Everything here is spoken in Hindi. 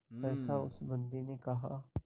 सहसा उस बंदी ने कहा